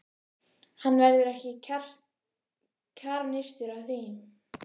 Hann verður ekki kjarnyrtur af því.